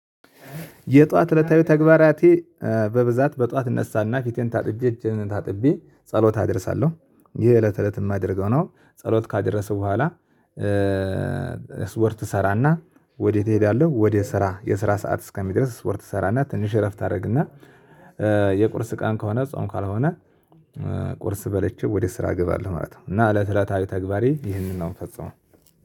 የጠዋት እለታዊ ተግባራቴ በብዛት በጠዋት እነሳና ፊቴን ታጥቤ እጄን ታጥቤ ጸሎት አደርሳለሁ ይሄ እለት እለት የማደርገው ነው። ጸሎት ካደረስኩ በኋላ ስፖርት ሰራና። ወዴት እሄዳለሁ ወደ ስራ የስራ ሰዓት እስከሚድረስ ስፖርት ሰራና ትንሽ እረፍት አደርግና የቁርስ ቀን ከሆነ ጾም ካልሆነ ቁርስ በልቼ ወደ ስራ እገባለሁ ማለት ነው። እና እለት እለታዊ ተግባሬ ይህንን ነው የምፈጽመው